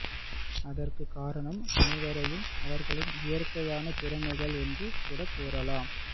அதற்கு காரணம் அனைவரையும் அவர்களின் இயற்கையான திறமைகள் என்று கூட கூறலாம்ஃ